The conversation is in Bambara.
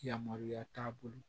Yamaruya t'a bolo